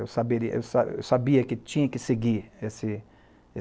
Eu saberia eu eu sabia que tinha que seguir esse